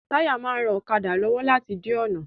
Táyà máa ń ran ọ̀kadà lọ́wọ́ láti di ọ̀nà